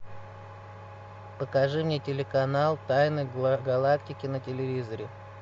покажи мне телеканал тайны галактики на телевизоре